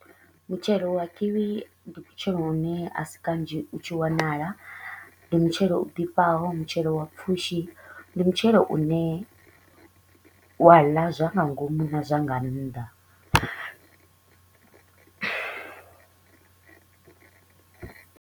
Mutshelo wa Kiwi ndi mutshelo u ne a si kanzhi u tshi wanala, ndi mutshelo u ḓifhaho, mutshelo wa pfushi. Ndi mutshelo u ne wa ḽa zwa nga ngomu na zwa nga nnḓa.